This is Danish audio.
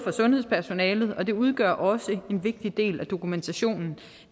sundhedspersonalet og det udgør også en vigtig del af dokumentationen